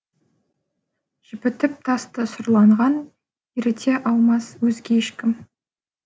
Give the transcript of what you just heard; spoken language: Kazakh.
жібітіп тасты сұрланған еріте алмас өзге ешкім